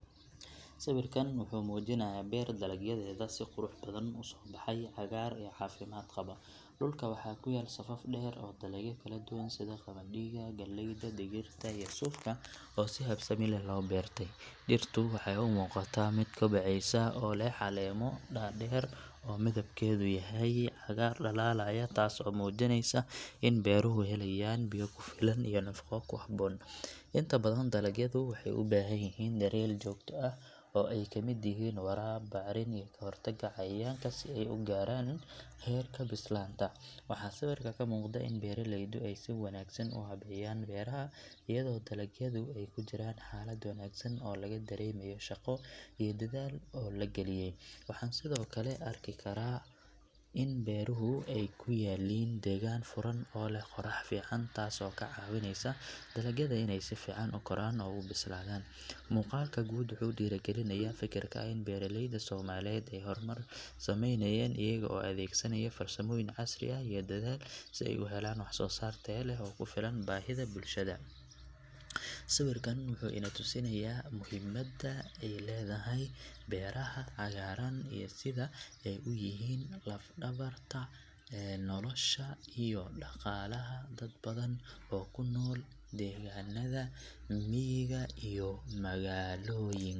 Sawirkan wuxuu muujinayaa beer dalagyadeeda si qurux badan u soo baxay, cagaar iyo caafimaad qaba. Dhulka waxaa ku yaal safaf dheer oo dalagyo kala duwan sida qamadiga, galleyda, digirta iyo suufka oo si habsami leh loo beertay. Dhirtu waxay u muuqataa mid kobcaysa oo leh caleemo dhaadheer oo midabkoodu yahay cagaar dhalaalaya taas oo muujinaysa in beeruhu helayaan biyo ku filan iyo nafaqo ku habboon. Inta badan dalagyadu waxay u baahan yihiin daryeel joogto ah oo ay ka mid yihiin waraab, bacrin, iyo ka hortagga cayayaanka si ay u gaaraan heerka bislaanta. Waxaa sawirka ka muuqda in beeraleydu ay si wanaagsan u habeeyeen beeraha, iyadoo dalagyadu ay ku jiraan xaalad wanaagsan oo laga dareemayo shaqo iyo dadaal badan oo la geliyay. Waxaan sidoo kale ka arki karnaa in beeruhu ay ku yaalliin deegaan furan oo leh qorrax fiican taas oo ka caawinaysa dalagyada inay si fiican u koraan oo u bislaadaan. Muuqaalka guud wuxuu dhiirrigelinayaa fikirka ah in beeraleyda Soomaaliyeed ay horumar sameynayaan iyaga oo adeegsanaya farsamooyin casri ah iyo dadaal badan si ay u helaan wax soo saar tayo leh oo ku filan baahida bulshada. Sawirkan wuxuu ina tusayaa muhiimadda ay leedahay beeraha cagaaran iyo sida ay u yihiin laf-dhabarta nolosha iyo dhaqaalaha dad badan oo ku nool deegaannada miyiga iyo magaalooyinka.